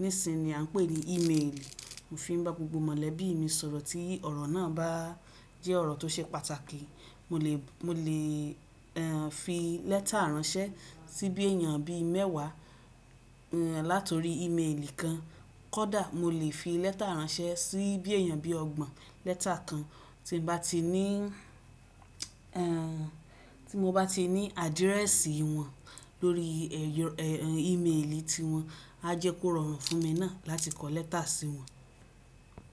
nísinyìí ni à ń pè ní ímeèlì. Mo fi ń bá gbogbo mọ̀lẹ́bí mi sọ̀rọ̀ tí ọ̀rọ̀ náà bá jẹ́ ọ̀rọ̀ tó ṣe pàtàkì. Mò lè, mò lè, fi lẹ́tà ránṣẹ́ sí bí èèyàn bí mẹ́wàá, látori ímeèlì kan. Kódà mò lè fi lẹ́tà ránṣẹ́ sí bí èèyàn bí ọgbọ̀n. Lẹ́tà kan tí mo bá ti ní, tí mo bá ti ní àdírẹ́sì wọn lórí ímeèlì tí wọn, a jẹ́ kó rọrùn fún mi náà láti kọ lẹ́tà sí wọn.